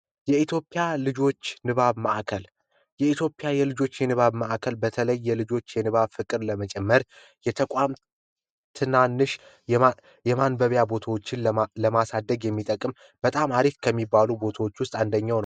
የኢትዮጵያ ልጆች ንባብ ማእከል፤ የኢትዮጵያ የልጆች የንባብ ማእከል በተለይ የልጆች የንባብ ፍቅርን ለመጨመር የተቋቋመ ትናንሽ የንባብ ቦታዎችን ለማሳደግ የሚጠቅም በጣም አሪፍ ከሚባሉ ቦታዎች ውስጥ አንደኛው ነው።